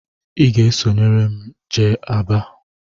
Ị ga-esorịrị m jee Aba!